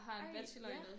Ej ja